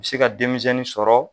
bɛ se ka denmizɛnnin sɔrɔ.